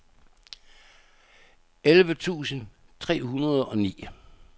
elleve tusind tre hundrede og ni